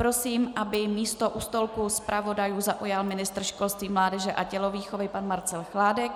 Prosím, aby místo u stolku zpravodajů zaujal ministr školství, mládeže a tělovýchovy pan Marcel Chládek